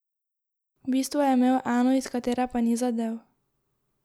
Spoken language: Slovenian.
V bistvu je imel eno, iz katere pa ni zadel.